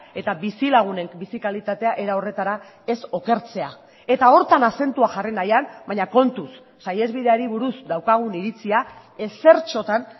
eta bizilagunen bizi kalitatea era horretara ez okertzea eta horretan azentua jarri nahian baina kontuz saihesbideari buruz daukagun iritzia ezertxotan